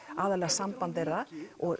aðallega samband þeirra